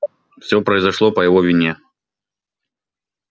всё произошло по его вине